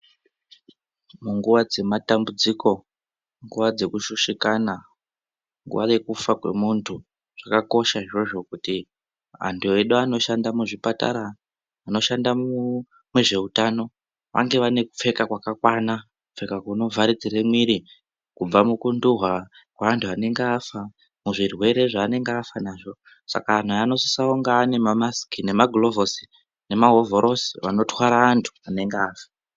Munguwa dzematambudziko ,nguwa dzekushushikana, kwave kufa kwemuntu, zvakakosha izvozvo kuti antu edu anoshanda muzvipatara, anoshanda munezveutano, vange vanekupfeka kwakakwana ,kupfeka kunovharidzire mwiri, kubva mukunduhwa kwevantu vanenge vafa muzvizvirwere zvaanenge vafanazvo saka anhu anosisa kunge anemamasiki, nemagulovhosi, nemahovhorosi, avanotwara vantu vanenge vafa.